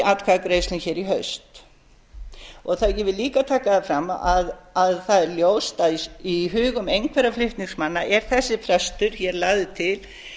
atkvæðagreiðslum í haust ég vil líka taka það fram að það er ljóst að í hugum einhverra flutningsmanna er þessi frestur lagður til